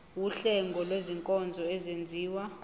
wuhlengo lwezinkonzo ezenziwa